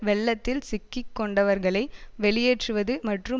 வெள்ளத்தில் சிக்கி கொண்டவர்களை வெளியேற்றுவது மற்றும்